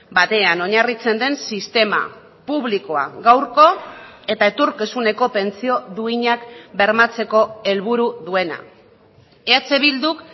batean oinarritzen den sistema publikoa gaurko eta etorkizuneko pentsio duinak bermatzeko helburu duena eh bilduk